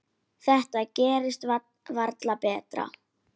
Þetta gerist varla betra.